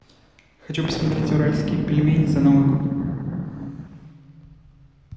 хочу посмотреть уральские пельмени за новый год